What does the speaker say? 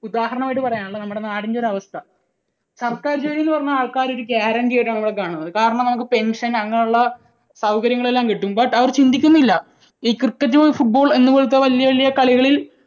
ഉദാഹരണം ആയിട്ട് പറയാനുള്ളത്. നമ്മുടെ നാടിൻറെ ഒരു അവസ്ഥ. സർക്കാർ ജോലി എന്നുപറഞ്ഞാൽ ആൾക്കാർ ഒരു guarantee ആയിട്ടാണ് കാണുന്നത്. കാരണം നമുക്ക് pension അങ്ങനെയുള്ള സൗകര്യങ്ങളെല്ലാം കിട്ടും. But അവർ ചിന്തിക്കുന്നില്ല ഈ cricket, football എന്നപോലത്തെ വലിയ വലിയ കളികളിൽ